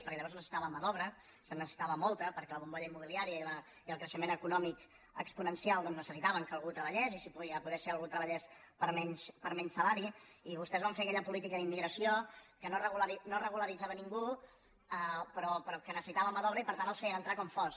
perquè llavors es necessitava mà d’obra se’n ne·cessitava molta perquè la bombolla immobiliària i el creixement econòmic exponencial necessitaven que al·gú treballés i si podia ser que algú treballés per menys salari i vostès van fer aquella política d’immigració que no regularitzava ningú però que necessitava mà d’obra i per tant els feien entrar com fos